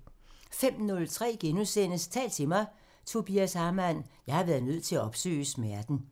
05:03: Tal til mig – Tobias Hamann: "Jeg har været nødt til at opsøge smerten" *